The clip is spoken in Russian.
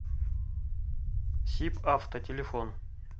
сибавто телефон